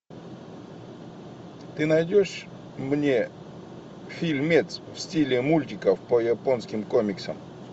ты найдешь мне фильмец в стиле мультиков по японским комиксам